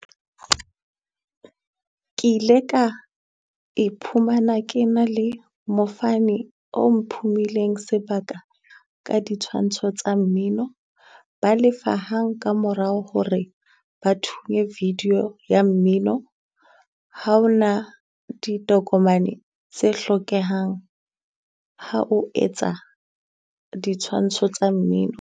Ke ile ka iphumana ke na le mofani o mphumileng sebaka ka di tshwantsho tsa mmino. Ba lefa hang ka morao hore ba thunye video ya mmino. Ha o na ditokomane tse hlokehang ha o etsa ditshwantsho tsa mmino.